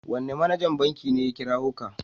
Wane manajan banki ne ya kirawo ka?